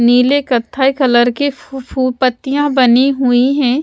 नीले कथाई कलर के फू फू पत्तियाँ बनी हुई हैं।